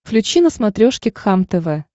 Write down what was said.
включи на смотрешке кхлм тв